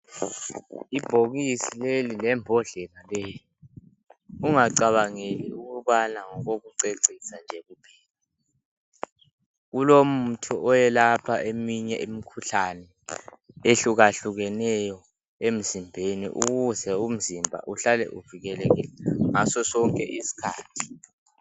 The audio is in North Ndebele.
Ibhokisi leli lembodlela leyi ungacabangeli ukubana ngokokucecisa nje kuphela lilomuthi oyelapha eminye imikhuhlane ehluka hlukeneyo emzimbeni ukuze umzimba uhlale uvikelekile ngasosonke isikhathi.